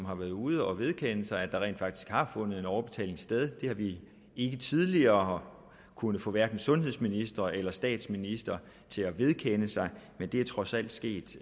har været ude at vedkende sig at der rent faktisk har fundet en overbetaling sted det har vi ikke tidligere kunnet få hverken sundhedsministre eller statsministeren til at vedkende sig men det er trods alt sket